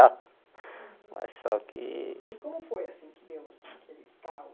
Ah mas só que... E como foi assim que deu o